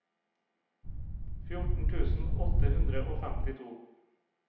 fjorten tusen åtte hundre og femtito